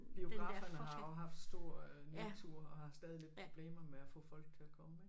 Biograferne har jo haft stor nedtur og har stadig lidt problemer med at få folk til at komme ik